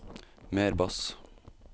mer bass